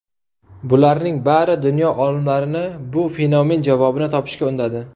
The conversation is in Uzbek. Bularning bari dunyo olimlarini bu fenomen javobini topishga undadi.